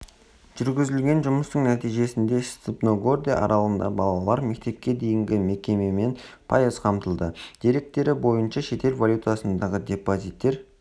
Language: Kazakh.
жүргізілген жұмыстың нәтижесінде степногорде аралығындағы балалар мектепке дейінгі мекемемен пайыз қамтылды деректері бойынша шетел валютасындағы депозиттер